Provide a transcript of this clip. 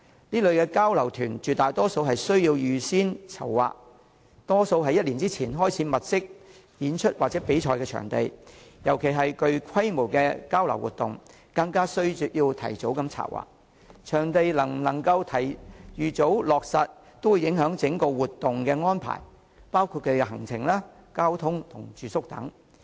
這類交流團絕大多數都需要預先籌劃，大多於1年前便要開始物色演出或比賽場地，尤其是具規模的交流活動，更需要提早策劃，而場地能否預早落實便會影響整項活動的安排，包括行程、交通、住宿等。